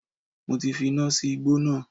Mo ti fi iná sí igbó náà